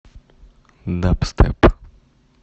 дабстеп